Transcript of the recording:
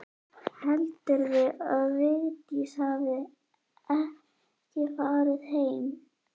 Heldurðu að Vigdís hafi ekki farið heim?